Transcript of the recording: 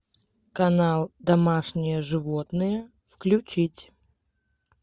канал домашние животные включить